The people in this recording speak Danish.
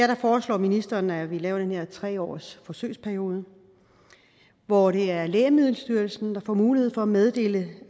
her foreslår ministeren at vi laver den her tre årsforsøgsperiode hvor det er lægemiddelstyrelsen der får mulighed for at meddele